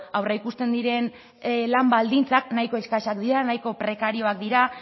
aurreikusten diren lan baldintzak nahiko eskasak dira nahiko prekarioak dira